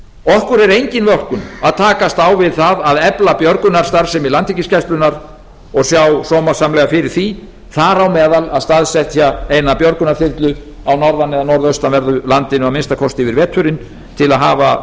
okkur er engin vorkunn að takast á við það að efla björgunarstarfsemi landhelgisgæslunnar og sjá sómasamlega fyrir því þar á meðal að staðsetja eina björgunarþyrlu á norðan eða norðaustanverðu landinu að minnsta kosti yfir veturinn til að hafa